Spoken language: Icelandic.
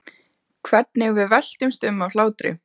Hvernig við veltumst um af hlátri.